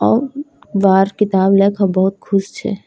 औ बाहर किताब लेके बहुत खुश छे।